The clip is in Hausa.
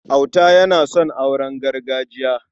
Auta yana son auren gargajiya.